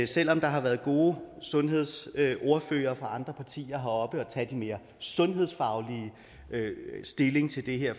selv om der har været gode sundhedsordførere fra andre partier heroppe og tage den mere sundhedsfaglige stilling til det her